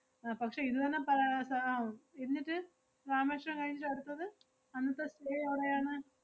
അഹ് പക്ഷേ ഇതുതന്നെ പ~ സ~ ആഹ് എന്നിട്ട് രാമേശ്വരം കഴിഞ്ഞിട്ട് അടുത്തത് അന്നത്തെ stay എവടെയാണ്?